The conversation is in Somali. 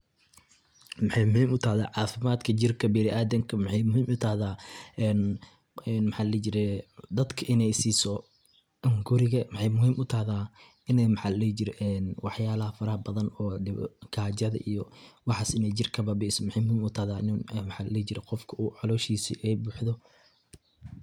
Maxey muhim u tahdaa cafimadka jirka biniadamka, waxey muhim u tahdaa een mxa ladihi jire dadka iney siso hunguriga, maxey muhim u tahdaa iney mxa ladihi jire wax yalaha faraha badan ee gajada iyo waxas iney jirka kababiiso , maxey muhim u tahda qofka iney caloshisa ay buxdo .